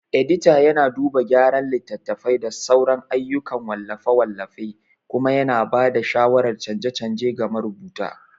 Edita yana duba gyara littattafai da sauran ayyukan wallafe-wallafe kuma yana ba da shawarar canje-canje ga marubuta.